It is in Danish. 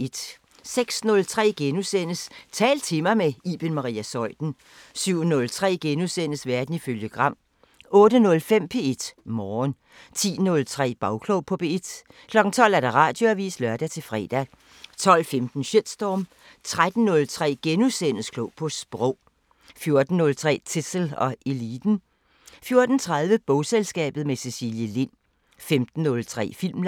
06:03: Tal til mig – med Iben Maria Zeuthen * 07:03: Verden ifølge Gram * 08:05: P1 Morgen 10:03: Bagklog på P1 12:00: Radioavisen (lør-fre) 12:15: Shitstorm 13:03: Klog på Sprog * 14:03: Zissel og Eliten 14:30: Bogselskabet – med Cecilie Lind 15:03: Filmland